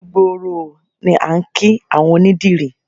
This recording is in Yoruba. Ojú gbooró ooo ni à ń kí àwọn onídìrí